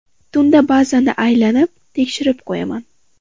Tunda bazani bir aylanib, tekshirib qo‘yaman.